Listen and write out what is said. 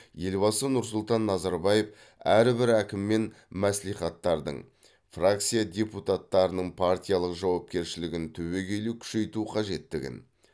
елбасы нұрсұлтан назарбаев әрбір әкім мен мәслихаттардың фракция депутаттарының партиялық жауапкершілігін түбегелі күшейту қажеттігін